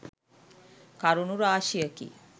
කරුණු රාශියකි.